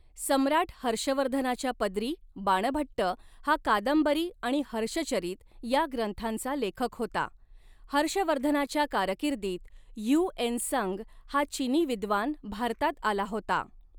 सम्राट हर्षवर्धनाच्या पदरी बाणभट्ट हा कादंबरी आणि हर्षचरित या ग्रंथांचा लेखक होता हर्षवर्धनाच्या कारकीर्दीत ह्यू एन संग हा चिनी विद्वान भारतात आला होता.